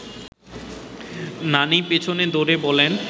নানি পেছনে দৌড়ে বলেন